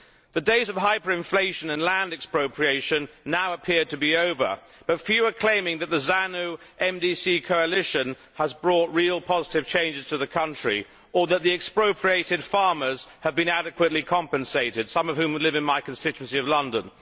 The days of hyperinflation and land expropriation now appear to be over, but few are claiming that the ZANU MDC coalition has brought real positive changes to the country or that the expropriated farmers have been adequately compensated, some of whom live in my constituency of London.